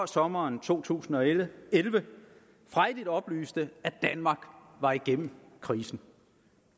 sommeren to tusind og elleve frejdigt oplyste at danmark var igennem krisen